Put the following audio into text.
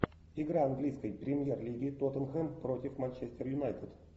игра английской премьер лиги тоттенхэм против манчестер юнайтед